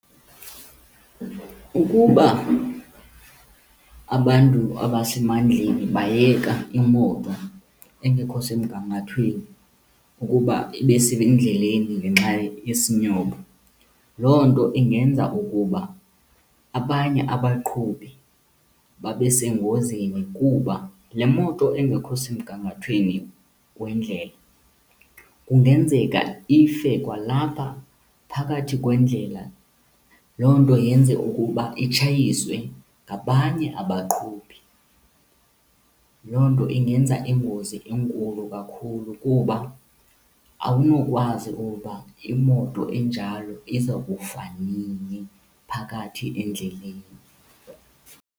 Ukuba abantu abasemandleni bayeka imoto engekho semgangathweni ukuba ibe sendleleni ngenxa yesinyobo, loo nto ingenza ukuba abanye abaqhubi babe sengozini kuba le moto engekho semgangathweni wendlela kungenzeka ife kwalapha phakathi kwendlela. Loo nto yenze ukuba itshayiswe ngabanye abaqhubi. Loo nto ingenza ingozi enkulu kakhulu kuba awunokwazi ukuba imoto enjalo iza kufa nini phakathi endleleni.